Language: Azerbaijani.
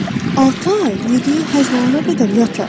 Altı ay yediyi həzm olunana qədər yatar.